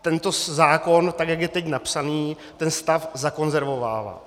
Tento zákon, tak jak je teď napsaný, ten stav zakonzervovává.